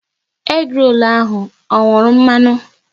Egi rolu ahụ ọ nwuru mmanụ?